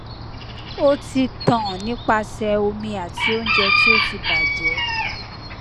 o ti tan nipasẹ omi ati ounje ti o ti baje